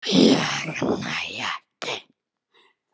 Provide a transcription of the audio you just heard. Ég næ ekki.